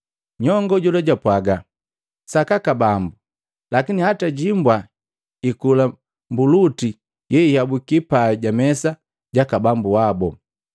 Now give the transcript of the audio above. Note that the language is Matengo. Nyongo jola jwapwaga, “Sakaka bambu, lakini hata himbwa ikula mbuluti yeiabuki pai jamesa jaka bambu wabu.”